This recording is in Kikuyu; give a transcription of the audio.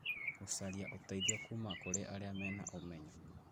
Gũcaria ũteithio kuma kũrĩ arĩa marĩ na ũmenyo